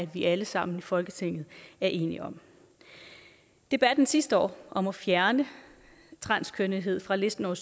vi alle sammen i folketinget er enige om debatten sidste år om at fjerne transkønnethed fra listen over